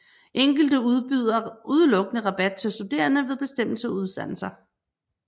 Enkelte udbyder udelukkende rabat til studerende ved bestemte uddannelser